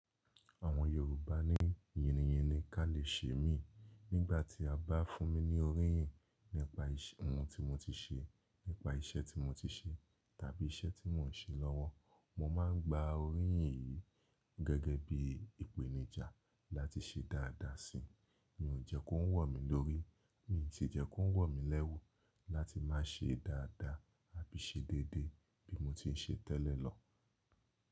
Àwọn Yorùbá ní yíniyíni ká lè ṣe mí. Nígbà tí a bá fún mi ní oríyìn nípa ohun tí mo ti ṣe, nípa iṣẹ́ tí mo ti ṣe, tàbí iṣẹ́ tí mò ń ṣe lọ́wọ́, mo máa ń gba oríyìn yìí gẹ́gẹ́ bí i ìpèníjà láti ṣe dáadáa si. Mi ò jẹ́ kó ń wò mí lórí, mi ò sì jẹ́ kó ń wò mí lẹ́wu láti máa ṣe dáadáa àbí ṣe déédé bí mo ti ń ṣe tẹ́lẹ̀ lọ.